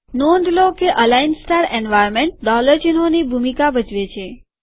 નોંધ લો કે અલાઈન સ્ટાર એન્વાર્નમેન્ટ ડોલર ચિહ્નોની ભૂમિકા ભજવે છે